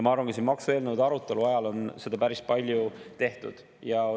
Ma arvan, et maksueelnõude arutelu ajal on seda päris palju ka tehtud.